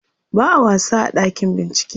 ba'a wasa a ɗakin bincike